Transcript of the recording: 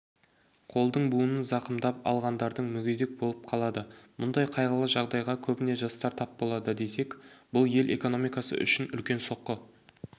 қолдың буынын зақымдап алғандардың мүгедек болып қалады мұндай қайғылы жағдайға көбіне жастар тап болады десек бұл ел экономикасы үшін үлкен соққы